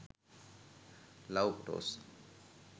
love photos